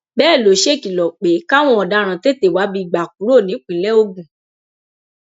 bẹẹ ló ṣèkìlọ pé káwọn ọdaràn tètè wábi gbà kúrò nípìnlẹ ogun